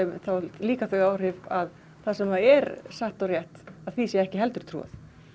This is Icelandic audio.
þá haft þau áhrif að það sem er satt og rétt að því sé ekki heldur trúað